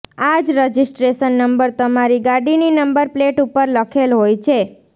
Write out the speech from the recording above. આ જ registration number તમારી ગાડીની નંબર પ્લેટ ઉપર લખેલ હોય છે